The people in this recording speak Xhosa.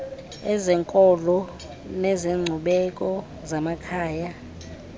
ezenkolo nezenkcubeko zamakhaya